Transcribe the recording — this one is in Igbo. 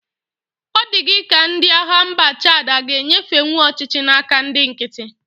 Ọ dị gị ka ndị agha mba Chad a g'enyefenwu ọchịchị na-aka ndị nkiti.